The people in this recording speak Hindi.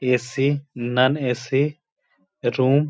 ए.सी. Non AC. रूम --